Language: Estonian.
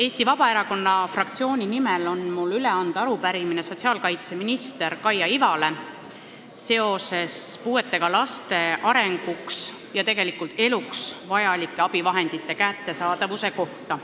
Eesti Vabaerakonna fraktsiooni nimel on mul üle anda arupärimine sotsiaalkaitseminister Kaia Ivale puuetega laste arenguks, tegelikult eluks vajalike abivahendite kättesaadavuse kohta.